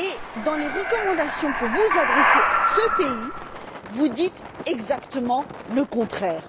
Or, dans les recommandations que vous adressez à ce pays, vous dites exactement le contraire.